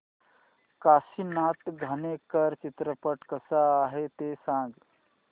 काशीनाथ घाणेकर चित्रपट कसा आहे ते सांग